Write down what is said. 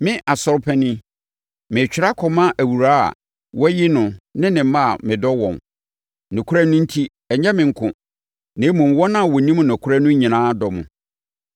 Me, Asɔre Panin, Meretwerɛ akɔma Awuraa a wɔayi no ne ne mma a medɔ wɔn, nokorɛ no enti. Ɛnyɛ me nko, na mmom, wɔn a wɔnim nokorɛ no nyinaa dɔ mo,